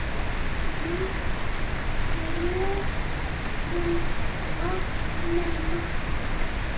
Við drekkum vatn með matnum.